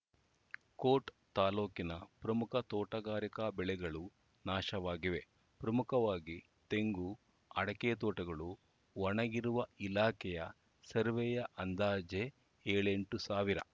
coat ತಾಲೂಕಿನ ಪ್ರಮುಖ ತೋಟಗಾರಿಕಾ ಬೆಳೆಗಳು ನಾಶವಾಗಿವೆ ಪ್ರಮುಖವಾಗಿ ತೆಂಗು ಅಡಕೆ ತೋಟಗಳು ಒಣಗಿರುವ ಇಲಾಖೆಯ ಸರ್ವೇಯ ಅಂದಾಜೇ ಏಳೆಂಟು ಸಾವಿರ